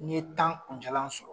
N'i ɲe tan kun jalan sɔrɔ.